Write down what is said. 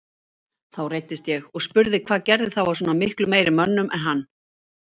Þá reiddist ég og spurði hvað gerði þá að svona miklu meiri mönnum en hann.